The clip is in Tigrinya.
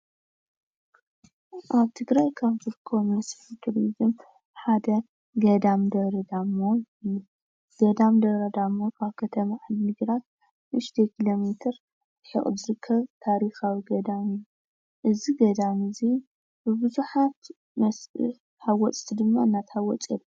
ኣብ ትግራይ ካብ ዝርከቡ መስሕብ ቱርዝም ሓደ ገዳም ደብረ ዳሞ እዩ። ገዳም ደብረ ዳሞ ከተማ ዓዲ ግራት ንእሽተይ ኪሎ ሚትር ርሕቁ ዝርከብ ታሪካዊ ገዳም እዩ። እዚ ገዳም እዚ ብብዛሓት መስሕብ ሓወፅቲ ድማ እዳተሓወፀ ይርከብ።